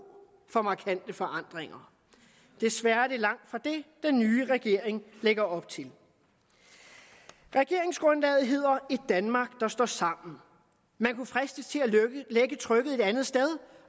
for markante forandringer desværre er det langt fra det den nye regering lægger op til regeringsgrundlaget hedder et danmark der står sammen man kunne fristes til at lægge trykket et andet sted